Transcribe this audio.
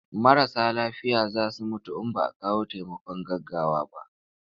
Marasa lafiya za su mutu in ba a kawo taimakon gaggawa ba.